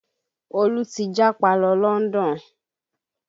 Olú ti japa lọ London